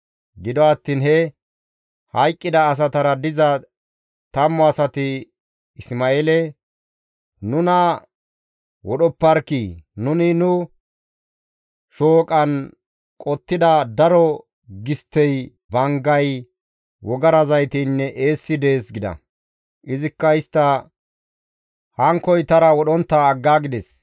Gido attiin he hayqqida asatara diza tammu asati Isma7eele, «Nuna wodhopparkkii! Nuni nu shooqan qottida daro gisttey, banggay, wogara zayteynne eessi dees» gida. Izikka istta hankkoytara wodhontta aggaagides.